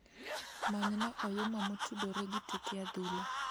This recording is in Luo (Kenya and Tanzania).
Manyna Oyuma motudore gi tuke adhula